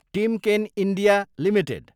Timken India Ltd